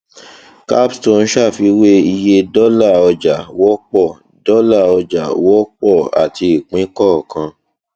capstone ṣàfiwé iye dọlà ọjà wọpọ dọlà ọjà wọpọ àti ìpín kọọkan